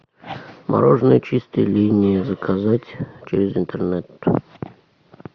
мороженое чистая линия заказать через интернет